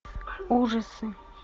ужасы